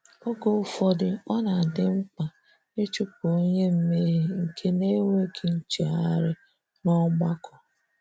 Oge ufodu, ọ na-adị mkpa ịchụpụ onye mmehie nke na-enweghị nchegharị n'ọgbakọ.